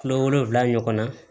Kulo wolonfila ɲɔgɔn na